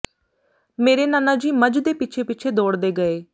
ਮੇਰੇ ਨਾਨਾ ਜੀ ਮੱਝ ਦੇ ਪਿੱਛੇ ਪਿੱਛੇ ਦੋੜਦੇ ਗਏ